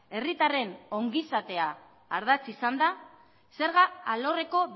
herritarren ongi izatea ardatz izanda zerga alorreko